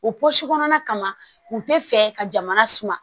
O pɔsi kɔnɔna kama u tɛ fɛ ka jamana suma